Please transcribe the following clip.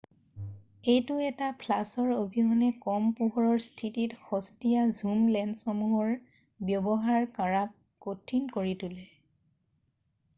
এইটো এটা ফ্লাছৰ অবিহনে কম পোহৰৰ স্থিতিত সস্তিয়া ঝুম লেন্সসমূহৰ ব্যৱহাৰ কৰাক কঠিন কৰি তোলে৷